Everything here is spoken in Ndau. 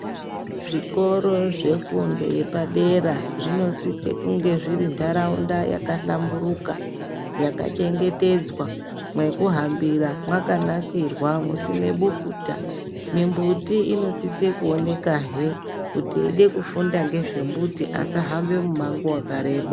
Zvikoro zvefundo yepadera zvinosiso kunge zviri ndaraunda yaka hlamburika yaka chengetedzwa mwekuhambira mwakanasirwa musine bukuta mumbuti munosiso kuoneka hee kuti veida kufunda ngezve mbuti vasa hamba umango wakareba .